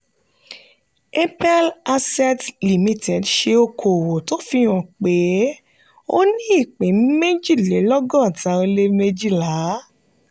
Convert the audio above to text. apel asset limited ṣe okòwò tó fi hàn pé ó ní ìpín méjìlélọ́gọ́ta ó lé méjìlá.